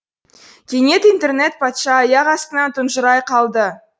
кенет интернет патша аяқ астынан тұнжырай қалды